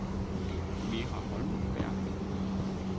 Vera Holmberg